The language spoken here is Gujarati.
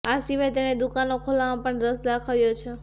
આ સિવાય તેણે દુકાનો ખોલવામાં પણ રસ દાખવ્યો છે